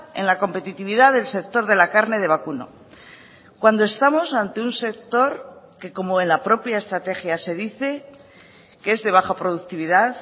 en la competitividad del sector de la carne de vacuno cuando estamos ante un sector que como en la propia estrategia se dice que es de baja productividad